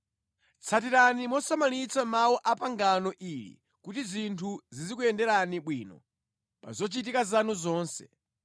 Tsatirani mosamalitsa mawu a mʼpangano ili kuti zinthu zizikuyenderani bwino pa zochitika zanu zonse.